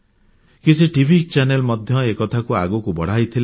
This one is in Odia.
କିଛି ଟିଭି ଚ୍ୟାନେଲ ମଧ୍ୟ ଏ କଥାକୁ ଆଗକୁ ବଢ଼ାଇଥିଲେ